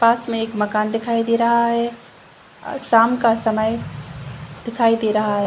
पास में एक मकान दिखाई दे रहा है अ शाम का समय दिखाई दे रहा है।